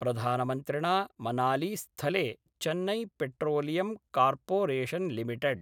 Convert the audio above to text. प्रधानमन्त्रिणा मनालीस्थले Chennai Petroleum Corporation limited